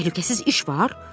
Təhlükəsiz iş var?